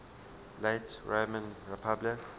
late roman republic